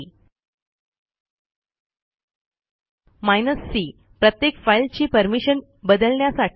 hyphen c प्रत्येक फाईलची permission बदलण्यासाठी